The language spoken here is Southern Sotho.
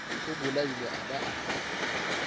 o bolaile a ba a